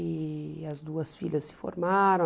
E as duas filhas se formaram.